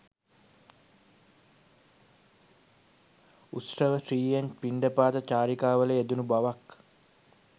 උත්සවශ්‍රීයෙන් පිණ්ඩපාත චාරිකාවල යෙදුණු බවක්